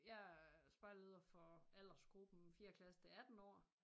Jeg er spejderleder for aldersgruppen fjerde klasse til 18 år